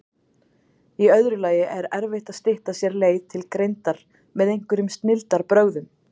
Í öðru lagi er erfitt að stytta sér leið til greindar með einhverjum snilldarbrögðum.